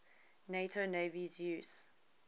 nato navies use